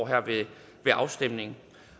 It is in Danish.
her ved afstemningen